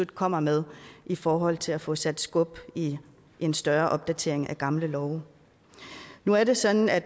kommer med i forhold til at få sat skub i en større opdatering af gamle love nu er det sådan at